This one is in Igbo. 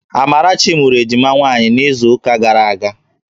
Amarachi mụrụ ejima nwaanyị n'izuụka gara aga